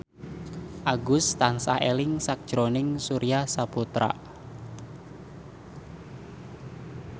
Agus tansah eling sakjroning Surya Saputra